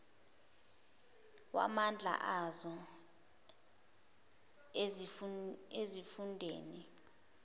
wamandla azo ezifundeni